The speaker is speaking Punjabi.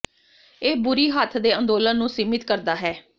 ਇਹ ਬੁਰੀ ਹੱਥ ਦੇ ਅੰਦੋਲਨ ਨੂੰ ਸੀਮਿਤ ਕਰਦਾ ਹੈ